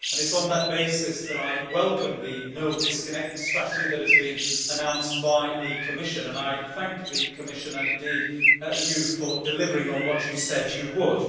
It is on that basis that I welcome the No Disconnect Strategy' that has been announced by the Commission. I thank the Commission, and indeed the Commissioner, for delivering on what she said she would.